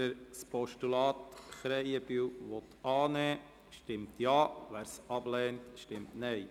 Wer das Postulat Krähenbühl annehmen will, stimmt Ja, wer es ablehnt, stimmt Nein.